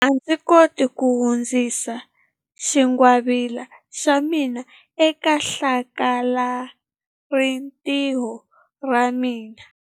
A ndzi koti ku hundzisa xingwavila xa mina eka hlakalarintiho ra ra mina.